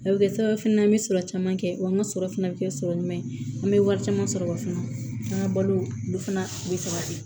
A bɛ kɛ sababu fana an bɛ sɔrɔ caman kɛ wa an ka sɔrɔ fana bɛ kɛ sɔrɔ ɲuman ye an bɛ wari caman sɔrɔ wa fana an ka balo olu fana bɛ se ka kɛ